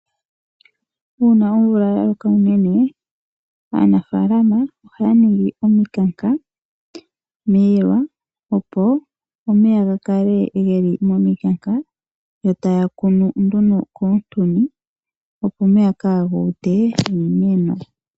Uuna omvula yaloka unene aanafalama ohaaningi omikanka miilwa opo omeya gakale ngeli miilwa, yo taakunu komintuni opo omeya kaagute iimeno.